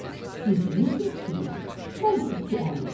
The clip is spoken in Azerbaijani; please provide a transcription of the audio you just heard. Siz 100 yaşayın, mən 250.